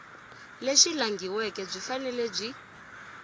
lebyi langhiweke byi fanele byi